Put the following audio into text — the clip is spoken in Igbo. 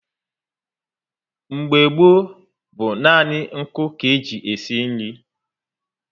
Mgbe gboo bú nani nku ka e ji esi nri